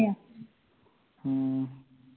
ਹੂ